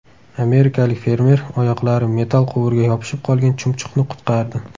Amerikalik fermer oyoqlari metall quvurga yopishib qolgan chumchuqni qutqardi .